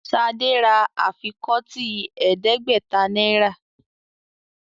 Shade rà afikọti ẹdẹgbẹta náírà